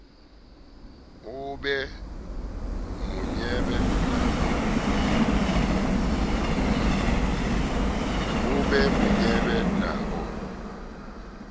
o be monyebe ha o